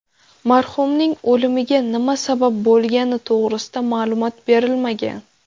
Marhumning o‘limiga nima sabab bo‘lgani to‘g‘risida ma’lumot berilmagan.